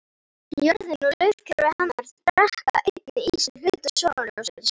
Jörðin og lífkerfi hennar drekka einnig í sig hluta sólarljóssins.